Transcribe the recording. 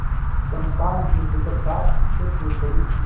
चंपा निर्भीकता से कूद पड़ी